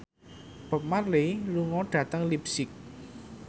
Bob Marley lunga dhateng leipzig